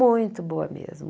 Muito boa mesmo.